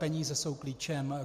Peníze jsou klíčem.